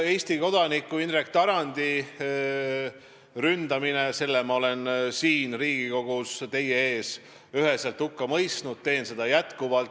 Eesti kodaniku Indrek Tarandi ründamise olen ma siin Riigikogus teie ees üheselt hukka mõistnud, teen seda jätkuvalt.